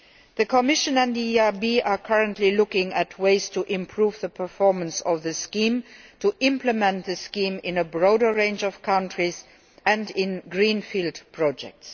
The Commission and the EIB are currently looking at ways to improve the performance of the scheme and to implement it in a broader range of countries and in greenfield projects.